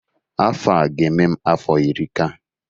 afọ a ga-eme m afọ iri ka